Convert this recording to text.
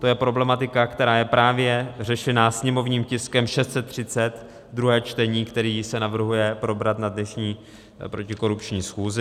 To je problematika, která je právě řešena sněmovním tiskem 630, druhé čtení, který se navrhuje probrat na dnešní protikorupční schůzi.